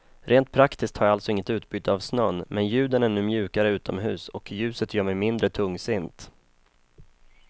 Rent praktiskt har jag alltså inget utbyte av snön, men ljuden är nu mjukare utomhus, och ljuset gör mig mindre tungsint.